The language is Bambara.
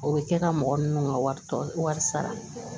O bɛ kɛ ka mɔgɔ ninnu ka wari tɔ wari sara